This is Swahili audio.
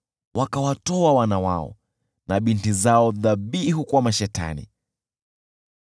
Wakawatoa wana wao na binti zao dhabihu kwa mashetani.